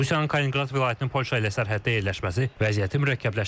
Rusiyanın Kalininqrad vilayətinin Polşa ilə sərhəddə yerləşməsi vəziyyəti mürəkkəbləşdirir.